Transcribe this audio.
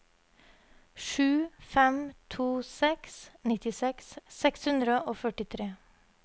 sju fem to seks nittiseks seks hundre og førtitre